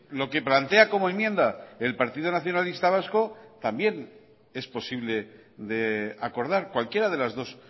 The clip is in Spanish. lo que plantea como enmienda el partido nacionalista vasco también es posible de acordar cualquiera de las dos